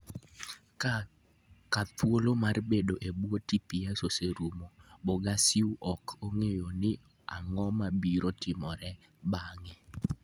Ka thuolo mar bedo e bwo TPS oserumo, Bogaciu ok ong'eyo ni ang'o mabiro timore bang'e.